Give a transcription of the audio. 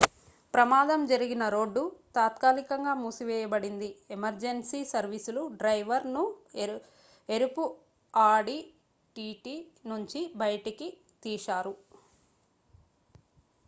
ప్రమాదం జరిగిన రోడ్డు తాత్కాలికంగా మూసివేయబడింది ఎమర్జెన్సీ సర్వీసులు డ్రైవర్ ను ఎరుపు ఆడి టిటి నుంచి బయటకి తీశారు